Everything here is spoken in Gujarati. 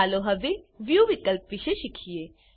ચાલો હવે વ્યૂ વિકલ્પ વિષે શીખીએ